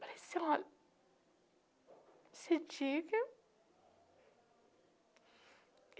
Parecia uma...